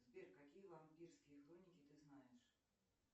сбер какие вампирские хроники ты знаешь